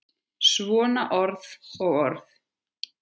Svona orð og orð.